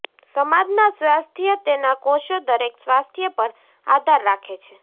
સમાજના સ્વાસ્થ્ય તેના કોષો દરેક સ્વાસ્થ્ય પર આધાર રાખે છે